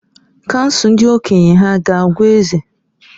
Kansụl ndị okenye hà ga-agwa eze?